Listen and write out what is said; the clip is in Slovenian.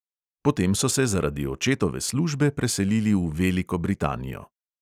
Potem so se zaradi očetove službe preselili v veliko britanijo.